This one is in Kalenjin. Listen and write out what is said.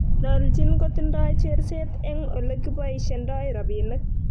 Noljin kotindoi cheerset eng ole kiboishendoi robinik